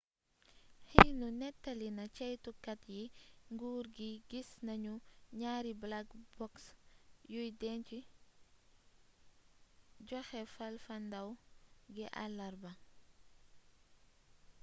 xinhu nettali na ceytukat yi nguur gi gis nanu ñaari black box' yuy denc joxe fafalndaaw gi àlarba